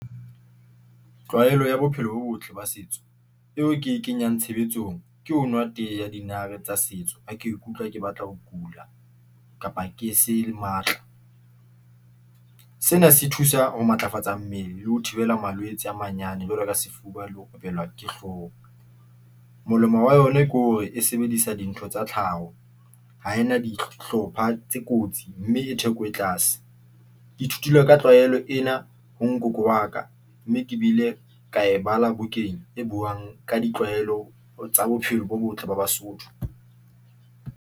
Tlwaelo ya bophelo bo botle ba setso, eo ke e kenyang tshebetsong, ke ho nwa tee ya dinare tsa setso. Ha ke ikutlwa ke batla ho kula, kapa ke se le matla. Sena se thusa ho matlafatsa mmele le ho thibela malwetse a manyane jwalo ka sefuba, le ho thubelwa ke hloka molemo wa yona ke hore e sebedisa dintho tsa tlhaho ho ena dihlopha tse kotsi mme e theko e tlase. Ke ithutile ka tlwaelo ena ho ngoko wa ka mme ke bile ka e bala bukeng e buang ka ditlwaelo tsa bophelo bo botle ba Basotho.